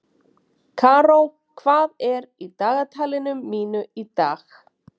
Karó, hvað er í dagatalinu mínu í dag?